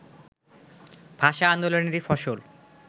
ভাষা আন্দোলনেরই ফসল